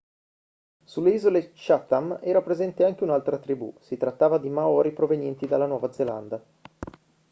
sulle isole chatham era presente anche un'altra tribù si trattava di maori provenienti dalla nuova zelanda